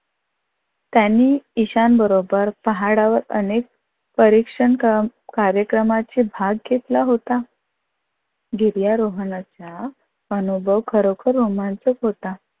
त्यांनी ईशान बरोबर पहाडावर अनेक परीक्षण क्रम कार्यक्रमाचा भाग घेतला होता. गिर्यारोहणाचा अनुभव खरोखर रोमांचक होता.